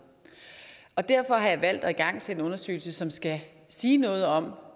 derfor har jeg valgt at igangsætte en undersøgelse som skal sige noget om